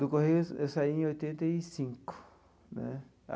Do Correio eu eu saí em oitenta e cinco, né?